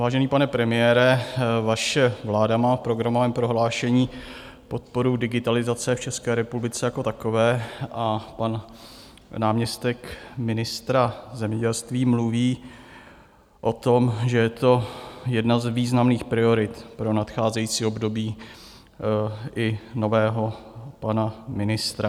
Vážený pane premiére, vaše vláda má v programovém prohlášení podporu digitalizace v České republice jako takové a pan náměstek ministra zemědělství mluví o tom, že je to jedna z významných priorit pro nadcházející období i nového pana ministra.